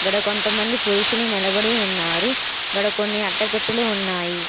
గాడ కొంతమంది పురుషులు నిలబడి ఉన్నారు. గాడ కొన్ని అట్టపెట్టెలు ఉన్నాయి.